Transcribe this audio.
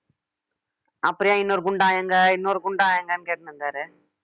அப்புறம் ஏன் இன்னொரு குண்டா எங்க இன்னொரு குண்டா எங்கேன்னு கேட்டுனு இருந்தாரு